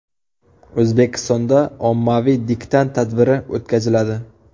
O‘zbekistonda ommaviy diktant tadbiri o‘tkaziladi.